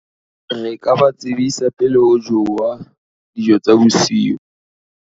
re ka ba tsebisa pele ho jowa dijo tsa bosiu